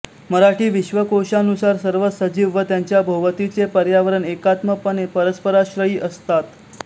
मराठी विश्वकोशानुसार सर्व सजीव व त्यांच्या भोवतीचे पर्यावरण एकात्मपणे परस्पराश्रयी असतात